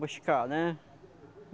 Buscar, né?